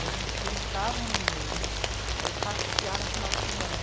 E a gente juntava um dinheiro para ir passear no final de semana.